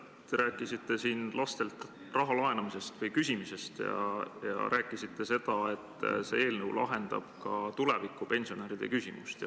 Te rääkisite siin lastelt raha laenamisest või küsimisest ja rääkisite seda, et see eelnõu lahendab ka tuleviku pensionäride probleeme.